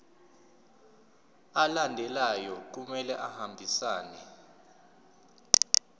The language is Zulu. alandelayo kumele ahambisane